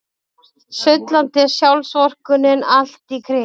Sullandi sjálfsvorkunnin allt í kring.